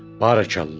Barəkallah.